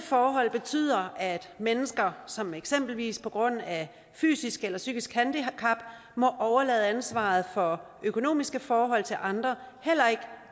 forhold betyder at mennesker som eksempelvis på grund af fysisk eller psykisk handicap må overlade ansvaret for økonomiske forhold til andre heller ikke